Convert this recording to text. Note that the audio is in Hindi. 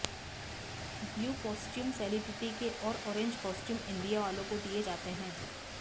ब्लू कॉस्ट्यूम सेलिब्रिटी के और ऑरेंज कॉस्ट्यूम इंडिया वालों को दिए जाते हैं